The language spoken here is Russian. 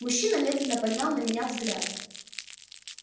мужчина медленно поднял на меня взгляд